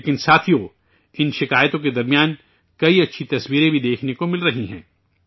لیکن ساتھیو، ان شکایات کے بیچ کئی اچھی تصویریں بھی دیکھنے کو مل رہی ہیں